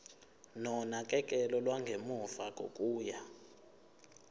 nonakekelo lwangemuva kokuya